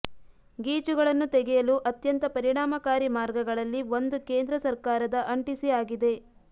ಗೀಚುಗಳನ್ನು ತೆಗೆಯಲು ಅತ್ಯಂತ ಪರಿಣಾಮಕಾರಿ ಮಾರ್ಗಗಳಲ್ಲಿ ಒಂದು ಕೇಂದ್ರ ಸಕರ್ಾರದ ಅಂಟಿಸಿ ಆಗಿದೆ